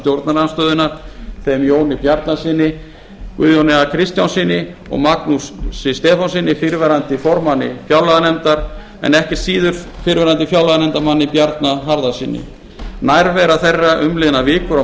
stjórnarandstöðunnar þeim jóni bjarnasyni guðjóni a kristjánssyni og magnúsi stefánssyni fyrrverandi formanni fjárlaganefndar en ekkert síður fyrrverandi fjárlaganefndarmanni bjarna harðarsyni nærvera þeirra umliðnar vikur og